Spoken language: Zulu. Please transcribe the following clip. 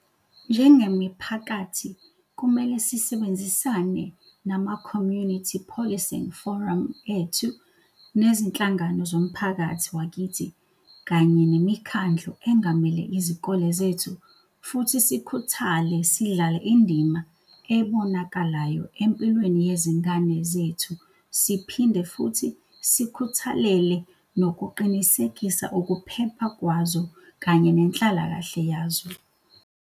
Njengemiphakathi kumele sisebenzisane nama-Community Policing Forum ethu, nezinhlangano zomphakathi wakithi kanye nemikhandlu engamele izikole zethu futhi sikhuthale sidlale indima ebonakalayo empilweni yezingane zethu siphinde futhi sikhuthalele nokuqinisekisa ukuphepha kwazo kanye nenhlalakahle yazo.